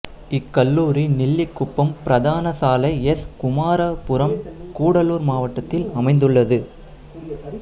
இக்கல்லூரி நெல்லிக்குப்பம் பிரதான சாலை எஸ் குமாராபுரம்கூடலூர் மாவட்டத்தில் அமைந்துள்ளது